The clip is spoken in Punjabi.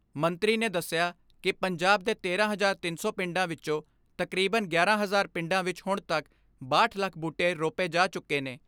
ਮੰਤਰੀ ਨੇ ਦੱਸਿਆ ਕਿ ਪੰਜਾਬ ਦੇ ਤੇਰਾਂ ਹਜ਼ਾਰ ਤਿੰਨ ਸੌ ਪਿੰਡਾਂ ਵਿੱਚੋਂ ਤਕਰੀਬਨ ਗਿਆਰਾਂ ਹਜਾਰ ਪਿੰਡਾਂ ਵਿੱਚ ਹੁਣ ਤੱਕ ਬਾਹਠ ਲੱਖ ਬੂਟੇ ਰੋਪੇ ਜਾ ਚੁੱਕੇ ਨੇ।